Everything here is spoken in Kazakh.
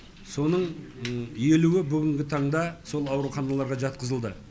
соның елуі бүгінгі таңда сол ауруханаларға жатқызылды